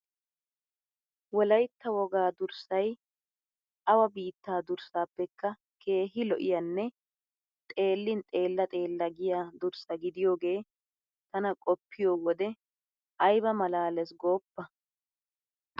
Wolaytta wogaa durssay awa biittaa durssaappekka keehi lo'iyanne xeellin xeella xeella giya durssa gidiyogee tana qoppiyi wode ayba malaalees gooppa!